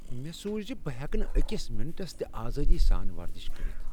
مےٚ سوٗچ ز بہٕ ہیٚکہٕ نہٕ أکس منٹس تہِ آزٲدی سان ورزش کٔرتھ ۔